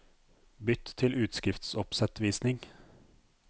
Bytt til utskriftsoppsettvisning